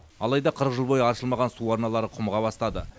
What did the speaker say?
алайда қырық жыл бойы аршылмаған су арналары құмыға бастады